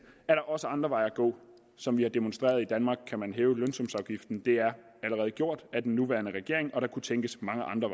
er der også andre veje at gå som vi har demonstreret i danmark kan man hæve lønsumsafgiften det er allerede gjort af den nuværende regering og der kunne tænkes mange andre